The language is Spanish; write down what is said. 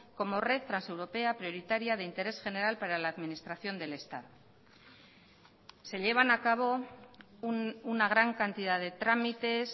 como red transeuropea prioritaria de interés general para la administración del estado se llevan a cabo una gran cantidad de trámites